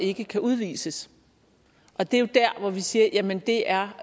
ikke kan udvises og det er jo der hvor vi siger jamen det er